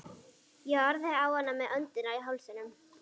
Ég horfði á hana með öndina í hálsinum.